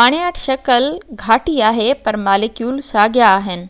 پاڻياٺ شڪل گھاٽي آهي پر ماليڪول ساڳيان آهن